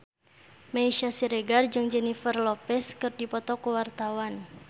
Meisya Siregar jeung Jennifer Lopez keur dipoto ku wartawan